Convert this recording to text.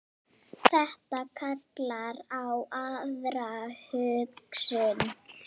Þetta kallar á aðra hugsun.